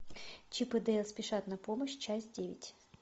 чип и дейл спешат на помощь часть девять